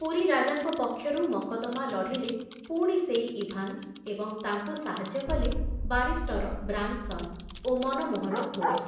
ପୁରୀ ରାଜାଙ୍କ ପକ୍ଷରୁ ମକଦ୍ଦମା ଲଢ଼ିଲେ ପୁଣି ସେଇ ଇଭାନ୍ସ ଏବଂ ତାଙ୍କୁ ସାହାଯ୍ୟ କଲେ ବାରିଷ୍ଟର ବ୍ରାନସନ ଓ ମନମୋହନ ଘୋଷ।